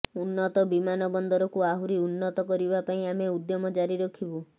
ଉନ୍ନତ ବିମାନ ବନ୍ଦରକୁ ଆହୁରି ଉନ୍ନତ କରିବା ପାଇଁ ଆମେ ଉଦ୍ୟମ ଜାରି ରଖିବୁ